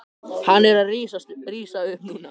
Hann er að rísa upp núna.